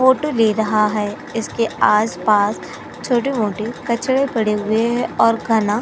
Photo ले रहा है। इसके आस-पास छोटे-मोटे कचरा पड़े हुए है और काना --